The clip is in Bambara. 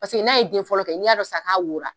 Paseke n'a ye den fɔlɔ kɛ n'i y'a dɔn sisan k'a wora